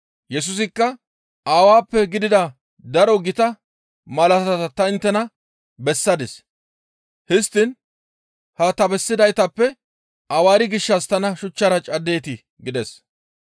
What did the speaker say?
Yesusikka, «Aawappe gidida daro gita malaatata ta inttena bessadis. Histtiin ha ta bessidaytappe awaari gishshas tana shuchchara caddeetii?» gides.